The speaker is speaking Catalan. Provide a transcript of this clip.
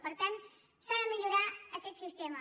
per tant s’ha de millorar aquest sistema